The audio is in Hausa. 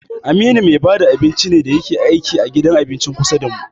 Aminu me bada abinci ne da yake aiki a gidan abincin kusa damu.